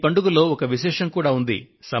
ఈ పండుగలో ఒక విశేషం కూడా ఉంది